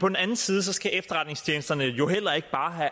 på den anden side skal efterretningstjenesterne jo heller ikke bare